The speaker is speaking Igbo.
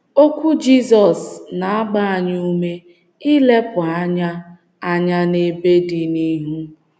Okwu Jizọs na - agba anyị ume ilepụ anya anya n'ebe dị n’ihu.